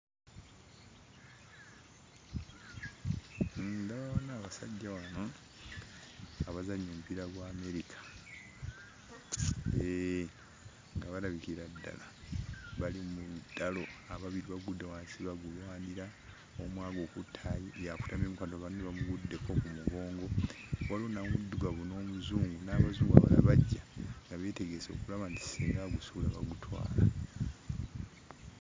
Ndabawo wano abasajja wano abazannya omupiira gwa Amerika. Hee, nga balabikira ddala bali mu lutalo. Ababiri bagudde wansi bagulwanira, omu agukutte y'akutamyemu kati banne bamuguddeko ku mugongo. Waliwo n'Omuddugavu n'Omuzungu n'Abazungu abalala bajja, nga beetegese okulaba nti singa agusuula bagutwala.